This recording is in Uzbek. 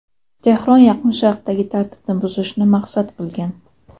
Tehron Yaqin Sharqdagi tartibni buzishni maqsad qilgan.